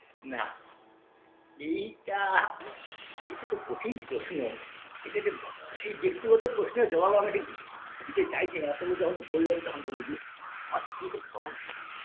নাহ এইটাহ এইটা খুব কঠিন প্রশ্ন এটা এটা এই ব্যক্তিগত প্রশ্নের জবাব আমি ঠিক দিতে চাইছি না তবু যখন বললেন তখন বলি যে আমার স্ত্রী খুব সহনশীল